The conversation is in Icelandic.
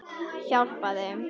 Hjálpa þeim.